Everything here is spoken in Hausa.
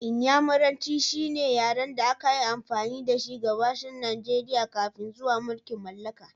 Inyamuranci shine yaren da aka yi amfani da shi a Gabashin Najeriya kafin zuwan mulkin mallaka